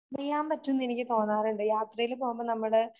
അറിയാൻ പറ്റൂന്ന് എനിക്ക് തോന്നാറുണ്ട്. യാത്രയിൽ പോകുമ്പോ നമ്മുടെ